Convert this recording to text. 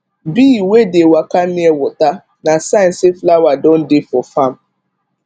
bee wey dey waka near water na sign say flower don dey for farm